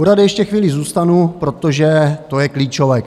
U rady ještě chvíli zůstanu, protože to je klíčové.